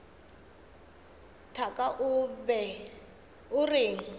thaka o be o reng